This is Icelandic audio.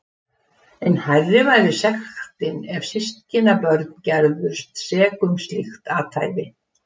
Enn hærri var sektin ef systkinabörn gerðust sek um slíkt athæfi.